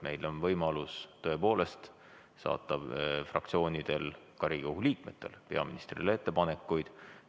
Meil on tõepoolest fraktsioonidel ja ka Riigikogu liikmetel võimalus saata peaministrile ettepanekuid.